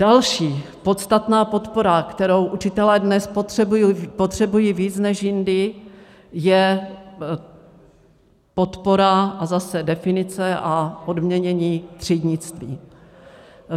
Další podstatná podpora, kterou učitelé dnes potřebují víc než jindy, je podpora a zase definice a odměnění třídnictví.